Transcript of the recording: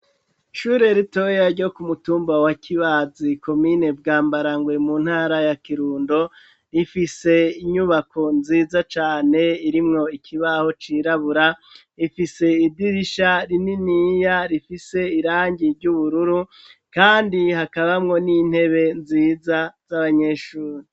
Ishure ritoya ryo kumutumba wa Kibazi komine Bwambarangwe, mu ntara ya Kirundo, rifise inyubako nziza cane irimwo ikibaho cirabura, ifise idirisha rininiya rifise irangi ry'ubururu, kandi hakabamwo n'intebe nziza z'abanyeshuri